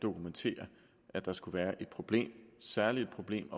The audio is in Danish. dokumentere at der skulle være et problem særlig et problem